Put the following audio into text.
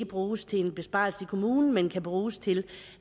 bruges til besparelser i kommunen men kan bruges til